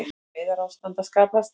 Neyðarástand að skapast